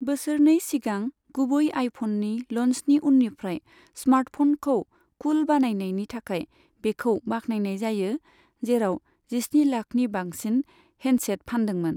बोसोरनै सिगां गुबै आइफननि लन्चनि उननिफ्राय, स्मार्टफनखौ कुल बानायनायनि थाखाय बेखौ बाखनायनाय जायो, जेराव जिस्नि लाखनि बांसिन हेन्डसेट फानदोंमोन।